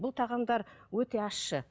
бұл тағамдар өте ащы